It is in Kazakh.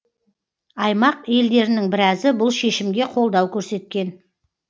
аймақ елдерінің біразы бұл шешімге қолдау көрсеткен